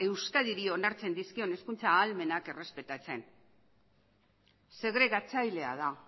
euskadiri dio onartzen dizkion hezkuntza ahalmenak errespetatzen segregatzailea da